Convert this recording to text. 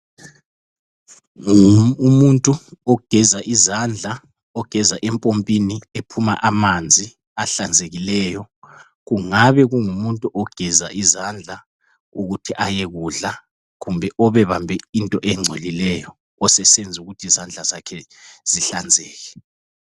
Umuntu ogeza izandla ogeza empompini ephuma amanzi ahlanzekileyo ,kungabe kungumuntu ogeza izandla ukuthi ayekudla kumbe obebambe into engcolileyo osesenza ukuthi izandla zakhe zihlanzeke.